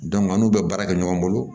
an n'u bɛ baara kɛ ɲɔgɔn bolo